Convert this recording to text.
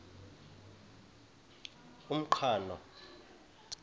umqhano